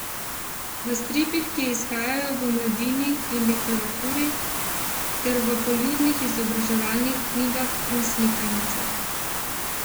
V stripih, ki izhajajo v Mladini in Literaturi, ter v poljudnih izobraževalnih knjigah in slikanicah.